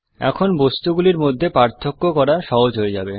এখন বস্তুগুলির মধ্যে পার্থক্য করা সহজ হয়ে যাবে